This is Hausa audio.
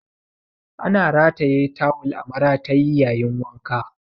Ana rataye tawul a maratayi yayin wanka.